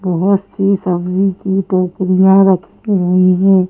बहुत सी सब्जी की टोकरियां रखी हुई हैं।